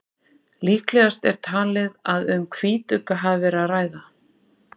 Líklegast er talið að um hvítugga hafi verið að ræða.